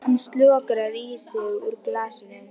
Hann slokrar í sig úr glasinu.